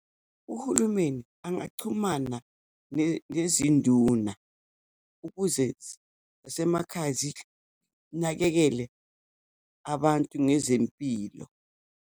Uhulumeni angachumana nezinduna ukuze zasemakhaya zinakekele abantu ngezempilo.